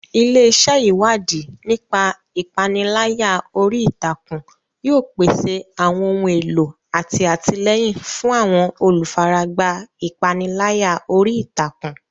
Ilé iṣẹ́ Ìwádìí nípa ìpániláyà orí ìtàkùn yóò pèsè àwọn ohun èlò àti àtìlẹ́yìn fún àwọn olùfaragbá ìpániláyà orí ìtàkùn.